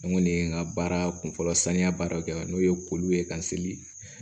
An kɔni ye n ka baara kunfɔlɔ saniya baaraw kɛ n'o ye ko ye ka seli